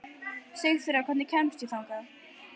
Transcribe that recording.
Sigþóra, hvernig kemst ég þangað?